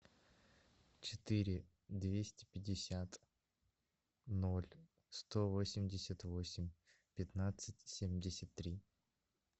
четыре двести пятьдесят ноль сто восемьдесят восемь пятнадцать семьдесят три